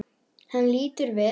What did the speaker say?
Hann lítur við.